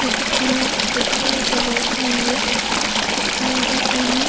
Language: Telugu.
ఈ చిత్రంలో ఇక్కడ ఒక డాబా ఉంది ఆ డాబాపైన --